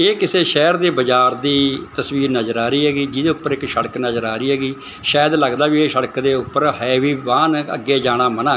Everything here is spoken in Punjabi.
ਇਹ ਕਿਸੇ ਸ਼ਹਿਰ ਦੇ ਬਾਜ਼ਾਰ ਦੀ ਤਸਵੀਰ ਨਜ਼ਰ ਆ ਰਹੀ ਹੈਗੀ ਜਿਹਦੇ ਉੱਪਰ ਇੱਕ ਸੜਕ ਨਜ਼ਰ ਆ ਰਹੀ ਹੈਗੀ ਸ਼ਾਇਦ ਲੱਗਦਾ ਵੀ ਇਹ ਸੜਕ ਦੇ ਉੱਪਰ ਹੈ ਵੀ ਵਾਹਨ ਅੱਗੇ ਜਾਣਾ ਮਨਾ।